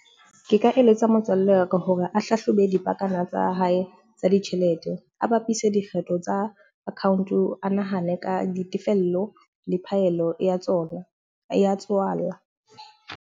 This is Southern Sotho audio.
Ke ka eletsa motswalle wa ka hore a hlahlobe dipakana tsa hae tsa ditjhelete. A bapise dikgetho tsa account, a nahane ka ditefello le phaello ya tsona ya tswala.